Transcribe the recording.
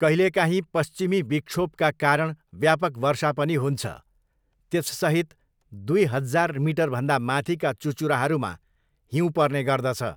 कहिलेकाहीँ पश्चिमी विक्षोभका कारण व्यापक वर्षा पनि हुन्छ, त्यससहित दुई हजार मिटरभन्दा माथिका चुचुराहरूमा हिउँ पर्ने गर्दछ।